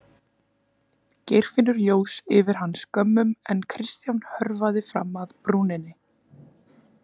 Geirfinnur jós yfir hann skömmum en Kristján hörfaði fram að brúninni.